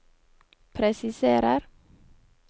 presiserer